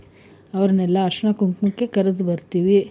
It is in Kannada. ಅವ್ರನ್ನೆಲ್ಲ ಅರಿಶಿಣ ಕುಂಕುಮಕ್ಕೆ ಕರೆದು ಬರ್ತೀವಿ.